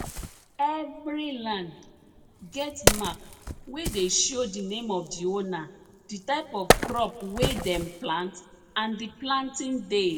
every land get mark wey dey show di name of di owner di type of crop wey dem plant and di planting day